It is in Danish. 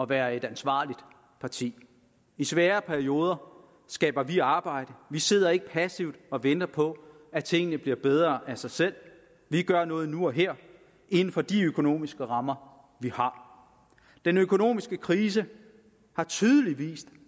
være et ansvarligt parti i svære perioder skaber vi arbejde vi sidder ikke passivt og venter på at tingene bliver bedre af sig selv vi gør noget nu og her inden for de økonomiske rammer vi har den økonomiske krise har tydeligt vist